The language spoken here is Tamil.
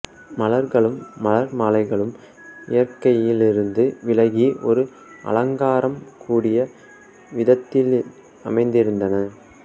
மலர்களும் மலர் மாலைகளும் இயற்கையிலிருந்து விலகி ஒரு அலங்காரம் கூடிய விதத்தில் அமைந்திருந்தன